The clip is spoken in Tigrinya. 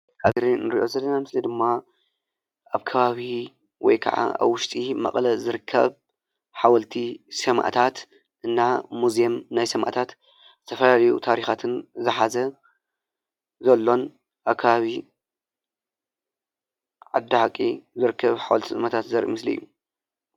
ኣብዚ ንሪኦ ዘለና ምስሊ ድማ ኣብ ከባቢ ወይ ከዓ ኣብ ውሽጢ መቐለ ዝርከብ ሓወልቲ ሰማዕታት እና ሙዜም ናይ ሰማዕታት ተፈላለዩ ታሪኻትን ዝሓዘ ዘሎን ኣካባቢ ዓዲ ሓቂ ዝርከብ ሓወልቲ ሰማዕታት ዘርኢ ምስሊ እዩ፡፡